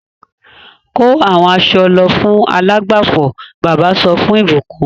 Kó àwọn aṣọ lọ fún alágbàfọ̀! Bàbá sọ fún ìbùkún.